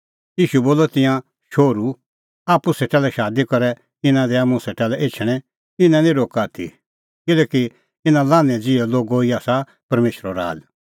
ईशू बोलअ तिंयां शोहरू आप्पू सेटा शादी करै इना दैआ मुंह सेटा लै एछणैं इना निं रोक्का आथी किल्हैकि इना लान्हैं ज़िहै लोगो ई आसा परमेशरो राज़